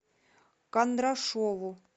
кондрашову